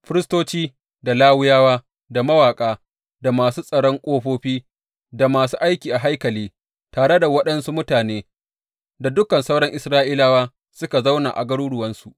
Firistoci, da Lawiyawa, da mawaƙa, da masu tsaron ƙofofi, da masu aiki a haikali, tare da waɗansu mutane, da dukan sauran Isra’ilawa suka zauna a garuruwansu.